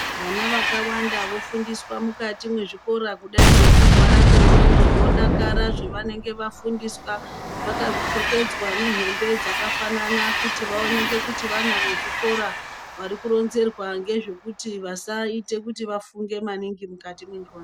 Vana vakawanda vofundiswa mukati mwezvikora kudai ngekurwara kwendxondo vodakara zvevanenge vafundiswa vakapfekedzwa nehembe dzakafanana kuti vaoneke kuti vana vezviikora vari kuronzerwa ngezvekuri vasaite kuti vafunge maningi mukati mwendxondo.